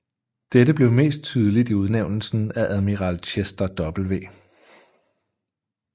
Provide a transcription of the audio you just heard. Dette blev mest tydeligt i udnævnelsen af admiral Chester W